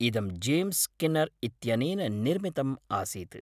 इदं James Skinner इत्यनेन निर्मितम् आसीत्।